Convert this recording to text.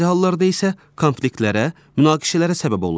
Bəzi hallarda isə konfliktlərə, münaqişələrə səbəb olur.